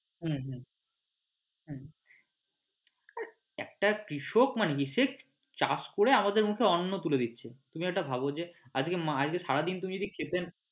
হম হম একটা কৃষক চাষ করে আমাদের মুখে অন্ন তুলে দিচ্ছে তুমি এটা মানে আজকে সারাদিন তুমি যদি খেতে